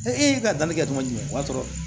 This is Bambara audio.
e ka danni kɛ tɔn jumɛn o y'a sɔrɔ